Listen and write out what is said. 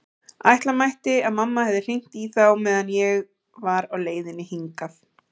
Ætla mætti að mamma hefði hringt í þá meðan ég var á leiðinni hingað.